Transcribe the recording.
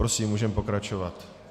Prosím, můžeme pokračovat.